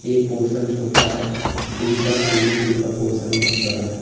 एक पोर्शन छोटा है दूसरा स्विमिंग पूल का पोर्शन बहोत बड़ा है।